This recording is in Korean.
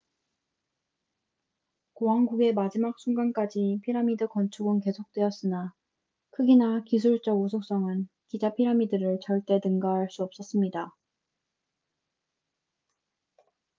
고왕국의 마지막 순간까지 피라미드 건축은 계속 되었으나 크기나 기술적 우수성은 기자 피라미드를 절대 능가할 수 없었습니다